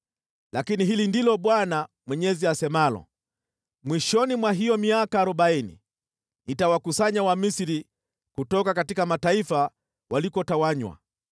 “ ‘Lakini hili ndilo Bwana Mwenyezi asemalo: Mwishoni mwa hiyo miaka arobaini, nitawakusanya Wamisri kutoka mataifa walikotawanywa.